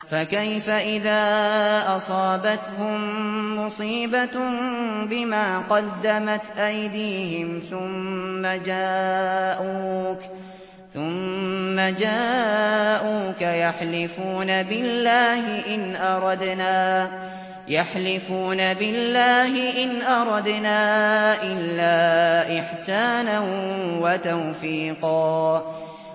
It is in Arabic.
فَكَيْفَ إِذَا أَصَابَتْهُم مُّصِيبَةٌ بِمَا قَدَّمَتْ أَيْدِيهِمْ ثُمَّ جَاءُوكَ يَحْلِفُونَ بِاللَّهِ إِنْ أَرَدْنَا إِلَّا إِحْسَانًا وَتَوْفِيقًا